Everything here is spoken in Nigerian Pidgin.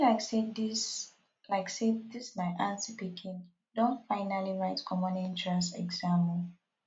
e be like say dis like say dis my aunty pikin don finally write common entrance exam o